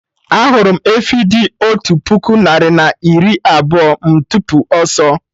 Ahụrụ m efi dị otú puku narị na iri abụọ, m tipu ọsọ